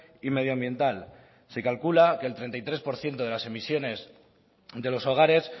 y medioambiental se calcula que el treinta y tres por ciento de las emisiones de los hogares